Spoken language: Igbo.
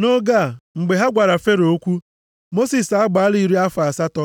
Nʼoge a, mgbe ha gwara Fero okwu, Mosis agbaala iri afọ asatọ.